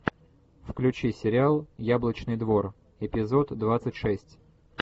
включи сериал яблочный двор эпизод двадцать шесть